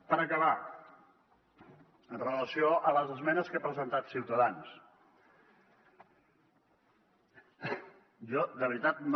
per acabar en relació amb les esmenes que ha presentat ciutadans jo de veritat no